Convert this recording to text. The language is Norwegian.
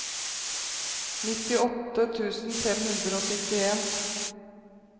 nittiåtte tusen fem hundre og syttien